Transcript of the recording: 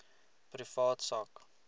privaat sak